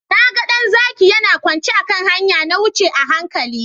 Na ga ɗan zaki yana kwance a kan hanya. Na wuce a hankali.